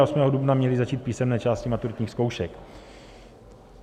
A 8. dubna měly začít písemné části maturitních zkoušek.